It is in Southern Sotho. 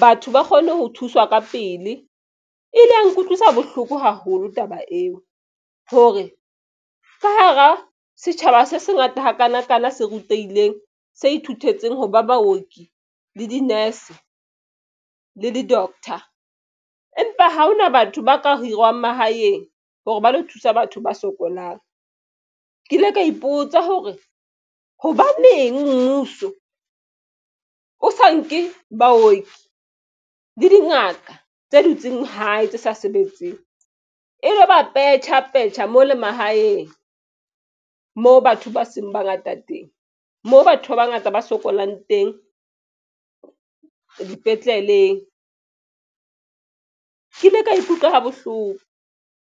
batho ba kgone ho thuswa ka pele e ile ya nkutlwisa bohloko haholo taba eo hore ka hara setjhaba se se ngata hakanakana se rutehileng se ithutetseng hoba baoki le di-nurse le di-doctor. Empa ha hona batho ba ka hirwang mahaeng hore ba lo thusa batho ba sokolang ke ile ka ipotsa hore hobaneng mmuso o sa nke baoki le dingaka tse dutseng hae tse sa sebetseng e lo ba petjhapetjha mo le mahaeng moo batho ba seng ba ngata teng moo batho ba bangata ba sokolang teng dipetleleng. Ke ile ka ikutlwa ha bohloko.